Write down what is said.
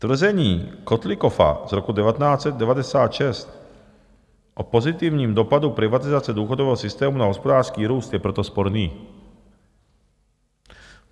Tvrzení Kotlikoffa z roku 1996 o pozitivním dopadu privatizace důchodového systému na hospodářský růst je proto sporný.